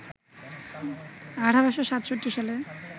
১৮৬৭ সালে